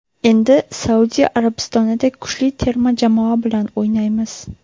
Endi Saudiya Arabistonidek kuchli terma jamoa bilan o‘ynaymiz.